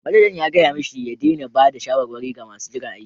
Manajan ya gaya mashi ya daina ba da shawarwari ga masu jiran aiki.